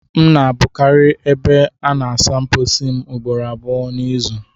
M na-abụkarị ebe a na-asa mposi m ugboro abụọ n'izu